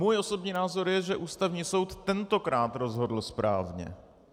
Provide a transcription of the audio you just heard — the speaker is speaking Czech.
Můj osobní názor je, že Ústavní soud tentokrát rozhodl správně.